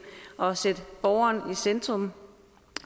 og sætte borgeren i centrum